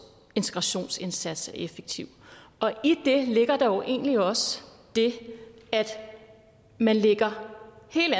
integrationsindsats er effektiv i det ligger der jo egentlig også det at man lægger hele